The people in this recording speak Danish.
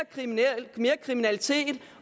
kriminalitet